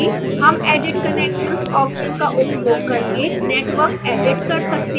हम edit connections option का उपयोग करके networks edit कर सकते हैं